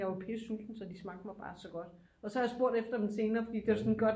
Jeg var pisse sulten så de smagte mig bare så godt og så har jeg spurgt efter dem senere fordi det var sådan et godt